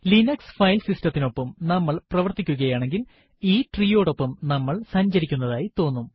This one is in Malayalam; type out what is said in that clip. ലിനക്സ് ഫയൽ സിസ്റ്റത്തിനൊപ്പം നമ്മൾ പ്രവര്ത്തിക്കുകയാണെങ്കിൽ ഈ ട്രീയോടൊപ്പം നമ്മൾ സഞ്ചരിക്കുന്നതായി തോന്നും